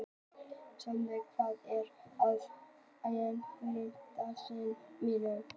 Steinröður, hvað er á innkaupalistanum mínum?